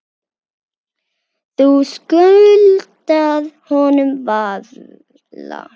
Þú skuldar honum varla.